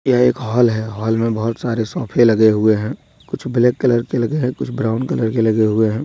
यह एक हाल है। हाल में बहुत सारे सोफे लगे हुए हैं। कुछ ब्लैक कलर के लगे हैं। कुछ ब्राउन कलर के लगे हुए हैं।